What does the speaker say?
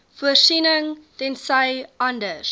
voorsiening tensy anders